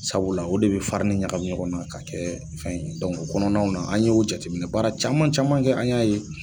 Sabula o de bɛ ɲagami ɲɔgɔn na ka kɛ fɛn o kɔnɔnaw na an ye o jateminɛ baara caman caman kɛ an y'a ye